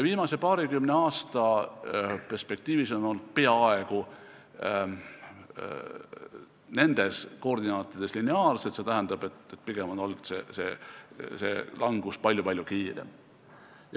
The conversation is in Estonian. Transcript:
Viimase paarikümne aasta jooksul on langused olnud peaaegu nendes koordinaatides lineaarsed, st pigem on langus olnud palju-palju kiirem.